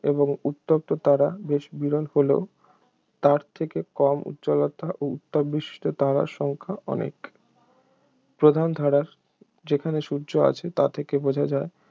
এবারে উত্তপ্ত তারা বেশ বিরল হলেও তার থেকে কম উজ্জ্বলতা ও উত্তাপবিশিষ্ট তারার সংখ্যা অনেক প্রধান ধারার যেখানে সূর্য আছে তা থেকে বোঝা যায়